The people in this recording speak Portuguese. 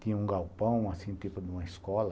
Tinha um galpão, assim, tipo de uma escola.